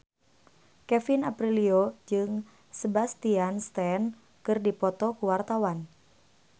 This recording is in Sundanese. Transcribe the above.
Kevin Aprilio jeung Sebastian Stan keur dipoto ku wartawan